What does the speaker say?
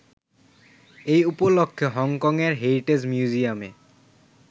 এ উপলক্ষ্যে হংকংয়ের হেরিটেজ মিউজিয়ামে